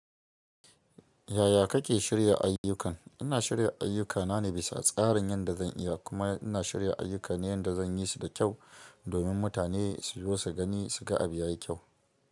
Yaya kake shirya ayyukan? Ina shirya ayyukana ne bisa tsarin yanda zan iya kuma ina shirya ayyuka ne yanda zan yi su da kyau domin mutane su zo su gani, su ga abu ya yi kyau.